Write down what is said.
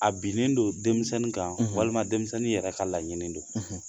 A binnen don denmisɛnnin kan walima denmisɛnnin yɛrɛ ka laɲini don